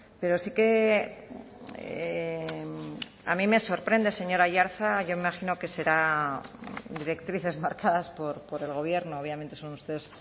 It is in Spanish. pero sí que a mí me sorprende señor aiartza yo imagino que serán directrices marcadas por el gobierno obviamente son ustedes